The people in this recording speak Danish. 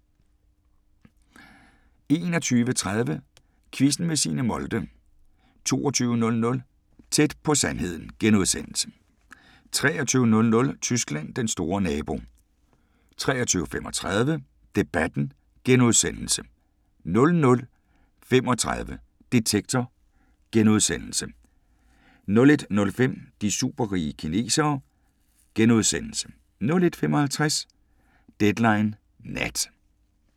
21:30: Quizzen med Signe Molde 22:00: Tæt på sandheden * 23:00: Tyskland: Den store nabo 23:35: Debatten * 00:35: Detektor * 01:05: De superrige kinesere * 01:55: Deadline Nat